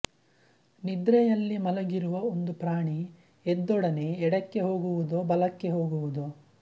ನಿದ್ರೆಯಲ್ಲಿ ಮಲಗಿರುವ ಒಂದು ಪ್ರಾಣಿ ಎದ್ದೊಡನೆ ಎಡಕ್ಕೆ ಹೋಗುವುದೋ ಬಲಕ್ಕೆ ಹೋಗುವುದೋ